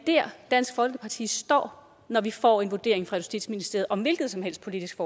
der dansk folkeparti står når vi får den vurdering fra justitsministeriet om et hvilket som helst politisk